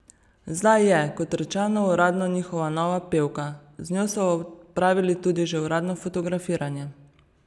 Zdaj je, kot rečeno, uradno njihova nova pevka, z njo so opravili tudi že uradno fotografiranje.